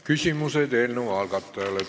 Küsimused eelnõu algatajale.